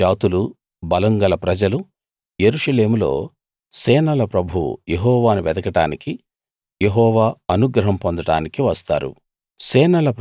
అనేక జాతులు బలం గల ప్రజలు యెరూషలేములో సేనల ప్రభువు యెహోవాను వెదకడానికి యెహోవా అనుగ్రహం పొందడానికి వస్తారు